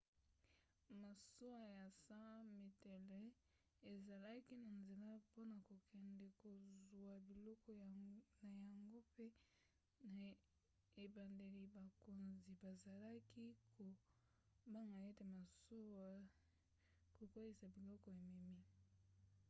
masuwa ya 100 metele ezalaki na nzela mpona kokende kozwa biloko na yango mpe na ebandeli bakonzi bazalaki kobanga ete masuwa ekokweyisa biloko ememi